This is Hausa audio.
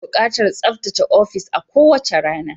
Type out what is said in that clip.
Ana buƙatar tsaftace ofis a kowace rana.